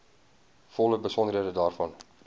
volle besonderhede daarvan